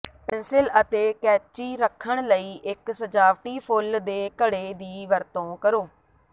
pencil ਅਤੇ ਕੈਚੀ ਰੱਖਣ ਲਈ ਇੱਕ ਸਜਾਵਟੀ ਫੁੱਲ ਦੇ ਘੜੇ ਦੀ ਵਰਤੋਂ ਕਰੋ